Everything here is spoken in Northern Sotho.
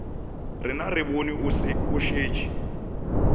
rena re bone o šetše